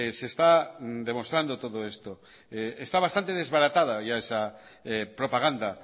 se está demostrando todo esto está bastante desbaratara ya esa propaganda